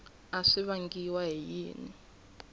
a swi vangiwa hi yini